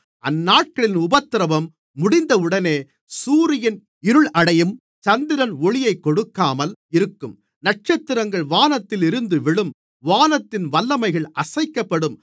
அந்தநாட்களின் உபத்திரவம் முடிந்தவுடனே சூரியன் இருளடையும் சந்திரன் ஒளியைக் கொடுக்காமல் இருக்கும் நட்சத்திரங்கள் வானத்திலிருந்து விழும் வானத்தின் வல்லமைகள் அசைக்கப்படும்